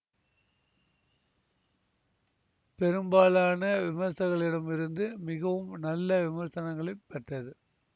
பெரும்பாலான விமர்சகர்களிடமிருந்து மிகவும் நல்ல விமர்சனங்களைப் பெற்றது